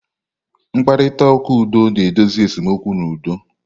Mkparịta ụka udo na-edozi esemokwu n'udo.